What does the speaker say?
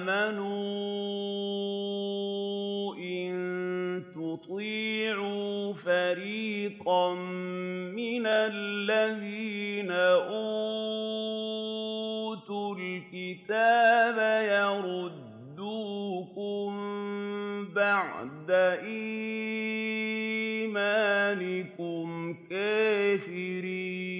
آمَنُوا إِن تُطِيعُوا فَرِيقًا مِّنَ الَّذِينَ أُوتُوا الْكِتَابَ يَرُدُّوكُم بَعْدَ إِيمَانِكُمْ كَافِرِينَ